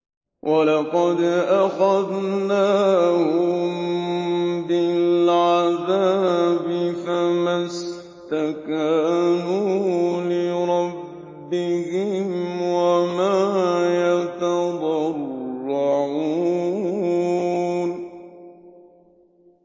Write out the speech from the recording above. وَلَقَدْ أَخَذْنَاهُم بِالْعَذَابِ فَمَا اسْتَكَانُوا لِرَبِّهِمْ وَمَا يَتَضَرَّعُونَ